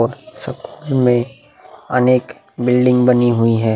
और में अनेक बिल्डिंग बनी हुई हैं।